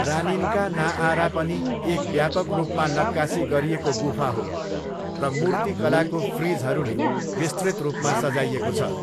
रानिन्का नाआरा पनि एक व्यापक रूपमा नक्कासी गरिएको गुफा हो र मूर्तिकलाको फ्रिजहरूले विस्तृत रूपमा सजाइएको छ।